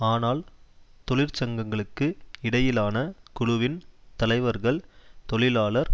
ஆனால் தொழிற்சங்கங்களுக்கு இடையிலான குழுவின் தலைவர்கள் தொழிலாளர்